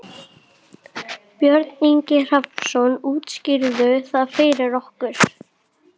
Björn Ingi Hrafnsson: Útskýrðu það fyrir okkur?